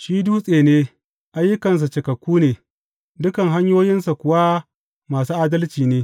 Shi Dutse ne, ayyukansa cikakku ne, dukan hanyoyinsa kuwa masu adalci ne.